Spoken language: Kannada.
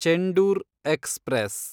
ಚೆಂಡೂರ್ ಎಕ್ಸ್‌ಪ್ರೆಸ್